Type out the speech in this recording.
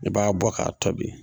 I b'a bɔ k'a tobi.